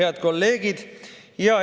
Head kolleegid!